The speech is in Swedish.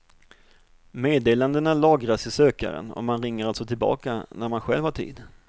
Meddelandena lagras i sökaren och man ringer alltså tillbaka när man själv har tid.